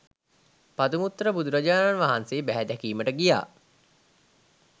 පදුමුත්තර බුදුරජාණන් වහන්සේ බැහැ දැකීමට ගියා.